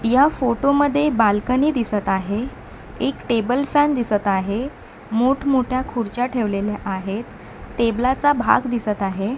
या फोटो मध्ये बाल्कनी दिसत आहे एक टेबल फॅन दिसत आहे मोठमोठ्या खुर्च्या ठेवलेल्या आहेत टेबला चा भाग दिसत आहे.